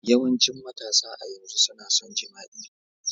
Yawancin matasa a yanzu suna son jima'i.